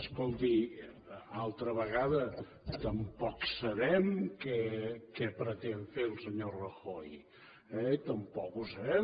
escolti altra vegada tampoc sabem què pretén fer el senyor rajoy eh tampoc ho sabem